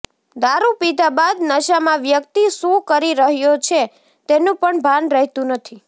દારૂ પીધા બાદ નશામાં વ્યક્તિ શું કરી રહ્યો છે તેનું પણ ભાન રહેતું નથી